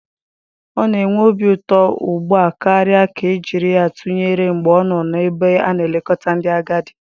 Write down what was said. Ọ na-enwe obi ụtọ ugbu a karịa ka e jiri ya tụnyere mgbe ọ nọ n'ebe a na-elekọta ndị agadi.